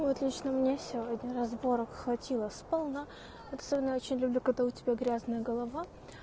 вот лично мне сегодня разборок хватило сполна вот особенно очень люблю когда у тебя грязная голова